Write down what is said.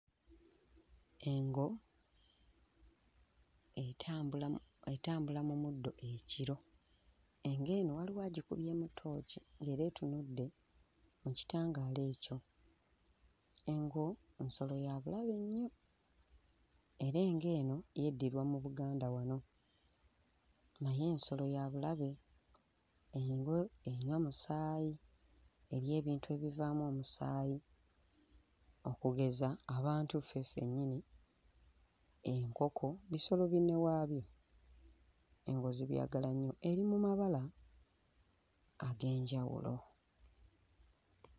Engo etambula mu etambula mu muddo ekiro. Engo eno waliwo agikubyemu tooci era etunudde mu kitangaala ekyo. Engo nsolo ya bulabe nnyo era engo eno yeddirwa mu Buganda wano, naye nsolo ya bulabe. Engo enywa musaayi, erya bintu ebivaamu omusaayi, okugeza abantu ffe ffennyini, enkoko bisolo binne waayo, eri mu mabala ag'enjawulo.